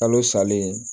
Kalo salen